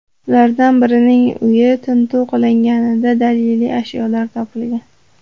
Ulardan birining uyi tintuv qilinganida daliliy ashyolar topilgan.